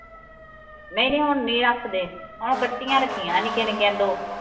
ਨਹੀ ਨਹੀ ਹੁਣ ਨਹੀ ਰੱਖਦੇ ਹੁਣ ਕੱਟੀਆਂ ਰੱਖੀਆਂ ਨਿੱਕੀਆਂ ਨਿੱਕੀਆਂ ਦੋ